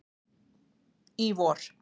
í vor.